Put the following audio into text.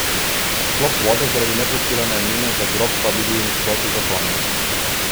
Odklop vode zaradi neplačila najemnine za grob pa bi bil v nasprotju z zakonom.